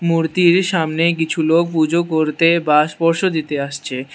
মুর্তির সামনে কিছু লোক পুজো করতে বা স্পর্শ দিতে আসছে।